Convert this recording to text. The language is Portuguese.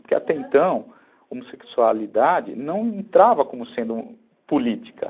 Porque até então, homossexualidade não entrava como sendo política.